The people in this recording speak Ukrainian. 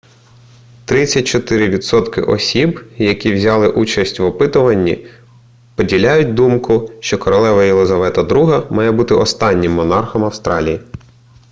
34 відсотки осіб які взяли участь в опитуванні поділяють думку що королева єлизавета ii має бути останнім монархом австралії